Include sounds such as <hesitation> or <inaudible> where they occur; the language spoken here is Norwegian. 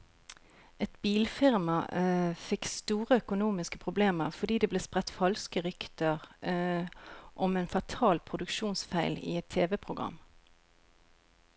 Et bilfirma <hesitation> fikk store økonomiske problemer, fordi det ble spredt falske rykter <hesitation> om en fatal produksjonsfeil i et TV-program.